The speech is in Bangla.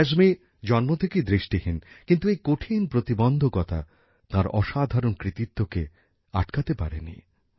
ক্যায়সমি জন্ম থেকেই দৃষ্টিহীন কিন্ত এই কঠিন প্রতিবন্ধকতা তাঁর অসাধারণ কৃতিত্বকে আটকাতে পারেনি